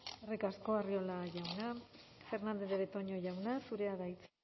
eskerrik asko arriola jauna fernandez de betoño jauna zurea da hitza